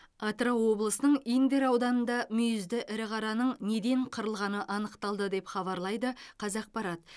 атырау облысының индер ауданында мүйізді ірі қараның неден қырылғаны анықталды деп хабарлайды қазақпарат